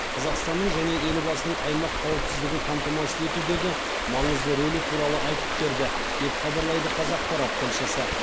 қазақстанның және елбасының аймақ қауіпсіздігін қамтамасыз етудегі маңызды рөлі туралы айтып берді деп хабарлайды қазақпарат тілшісі